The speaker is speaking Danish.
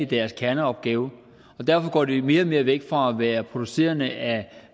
deres kerneopgave og derfor går de mere og mere væk fra at være producent af